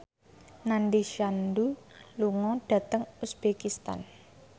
Nandish Sandhu lunga dhateng uzbekistan